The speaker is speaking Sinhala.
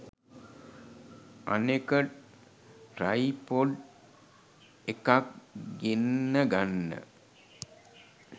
අනෙක ට්‍රයිපොඩ් එකක් ගෙන්න ගන්න